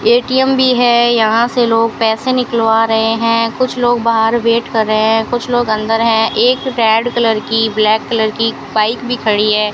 ATM भी है यहां से लोग पैसे निकलवा रहे है कुछ लोग बाहर वैट कर रहे है कुछ लोग अंदर है एक रेड कलर की ब्लैक कलर की बाइक भी खड़ी है।